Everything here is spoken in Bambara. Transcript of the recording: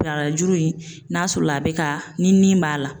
Barajuru in n'a sɔrɔ la a be ka ni nin b'a la